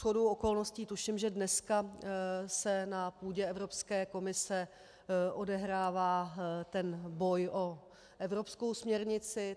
Shodou okolností tuším, že dneska se na půdě Evropské komise odehrává ten boj o evropskou směrnici.